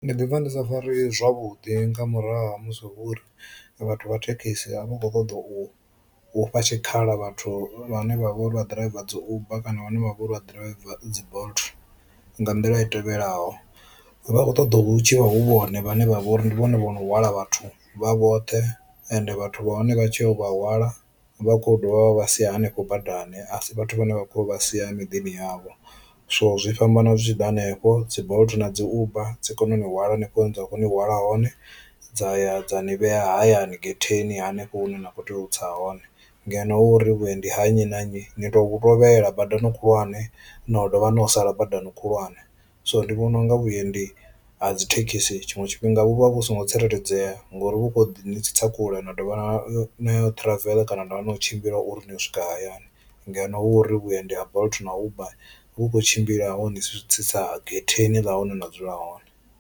Ndi ḓi pfha ndi sa fareyi zwavhudi nga murahu ha musi hu uri vhathu vha thekhisi a vha khou ṱoḓa u fha tshikhala vhathu vhane vha vhori vha ḓiraiva dzi uber kana vhane vha vhori vha ḓiraiva dzi bolt nga nḓila i tevhelaho, vha khou ṱoḓa hu tshi hu vhone vhane vha vha uri ndi vhone vhono hwala vhathu vha vhoṱhe ende vhathu vha hone vha tshi ya u vha hwala vha kho dovha vha sia hanefho badani a si vhathu vhane vha kho vha sia miḓini yavho. So zwi fhambana zwi tshi ḓa hanefho dzi bolt na dzi uber dzi kona u ni hwala hanefho hune dza khou ni hwala hone dza ya dza ni vhea hayani getheni hanefho hune na kho tea u tsa hone, ngeno hu uri vhuendi ha nnyi na nnyi ni to tovhela badani khulwane na dovha na yo sala badani khulwane. So ndi vhona unga vhuendi ha dzi thekhisi tshiṅwe tshifhinga vhu vha vhu songo tsireledzea ngori vhu kho ḓi ni tsitsa kule na dovha nayo travel kana na dovha nayo u tshimbila uri ni yo u swika hayani, ngeno hu uri vhuendi ha bolt na uber vhu khou tshimbila honi tsitsa getheni ḽa hune na dzula hone.